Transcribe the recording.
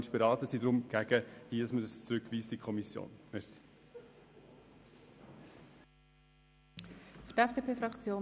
Wir müssen es in der Kommission nicht noch einmal beraten.